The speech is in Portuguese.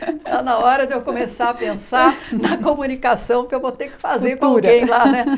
Está na hora de eu começar a pensar na comunicação que eu vou ter que fazer com alguém lá, né?